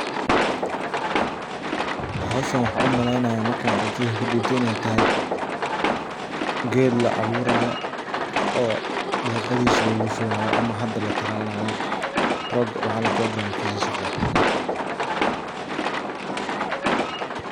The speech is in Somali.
Howshan waxa umaleynaya maka aragtideyda kadib waxa waye ged laaburayo oo caradisa lugushubayo oo program kisa uu socdo.